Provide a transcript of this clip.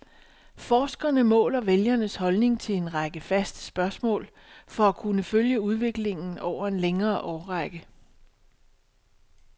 Forskerne måler vælgernes holdninger til en række faste spørgsmål for at kunne følge udviklingen over en længere årrække.